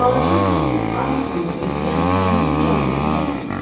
Balaca Daisy Armstrongu öldürən həmin Cani Kasseti.